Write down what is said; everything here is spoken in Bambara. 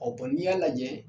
O n'i y'a lajɛ.